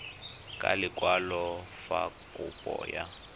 ka lekwalo fa kopo ya